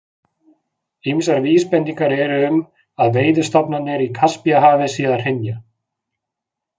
Ýmsar vísbendingar eru um að veiðistofnarnir í Kaspíahafi séu að hrynja.